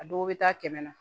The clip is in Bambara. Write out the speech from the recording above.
A dɔw bɛ taa kɛmɛ na